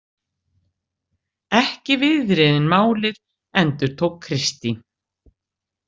Ekki viðriðin málið, endurtók Kristín.